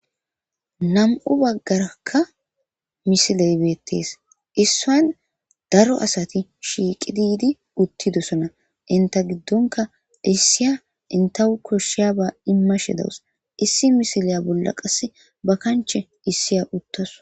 Namu'bagaraka missile bettes issi bagara namu'asati issi bagara utidosona inte gidonka koshiyaba Issi missile bolla ba kanche macasiya uttawus.